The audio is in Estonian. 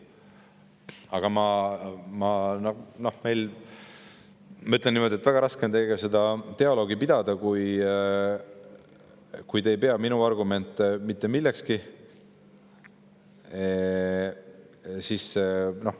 Aga ma ütlen niimoodi, et väga raske on teiega seda dialoogi pidada, kui te ei pea minu argumente mitte millekski.